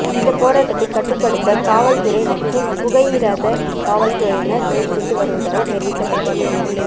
இந்த போராட்டத்தை கட்டுப்படுத்த காவல்துறை மற்றும் புகையிரத காவல்துறையினர் முயற்சித்து வருவதாக தெரிவிக்க்பபட்டுள்ளது